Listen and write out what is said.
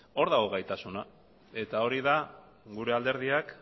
hor dago gaitasuna eta hori da gure alderdiak